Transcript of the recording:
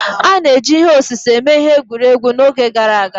A na-eji ihe osise eme ihe egwuregwu n'oge gboo